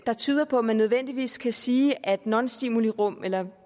der tyder på at man nødvendigvis kan sige at nonstimulirum eller